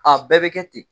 A bɛɛ bɛ kɛ ten